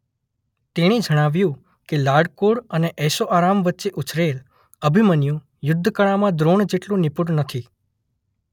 તેણે જણાવ્યું કે લાડકોડ અને ઐશોઆરામ વચ્ચે ઉછરેલ અભિમન્યુ યુદ્ધ કળામાં દ્રોણ જેટલો નિપુણ નથી.